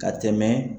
Ka tɛmɛ